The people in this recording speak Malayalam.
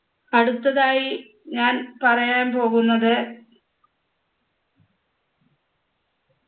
അടുത്തതായി ഞാൻ പറയാൻ പോകുന്നത്